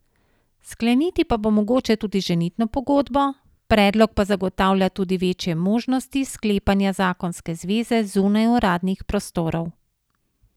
Skleniti pa bo mogoče tudi ženitno pogodbo, predlog pa zagotavlja tudi večje možnosti sklepanja zakonske zveze zunaj uradnih prostorov.